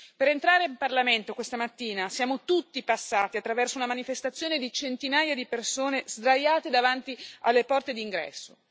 Per entrare in Parlamento questa mattina siamo tutti passati attraverso una manifestazione di centinaia di persone sdraiate davanti alle porte d'ingresso.